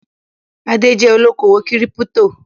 Adé jẹ́ olókòwò kírípító.